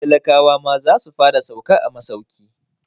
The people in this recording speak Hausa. Talakawa ma za su fara sauka a masauki.